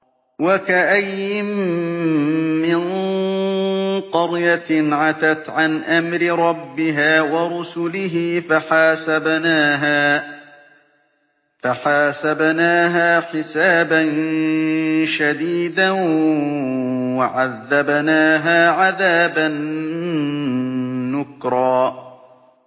وَكَأَيِّن مِّن قَرْيَةٍ عَتَتْ عَنْ أَمْرِ رَبِّهَا وَرُسُلِهِ فَحَاسَبْنَاهَا حِسَابًا شَدِيدًا وَعَذَّبْنَاهَا عَذَابًا نُّكْرًا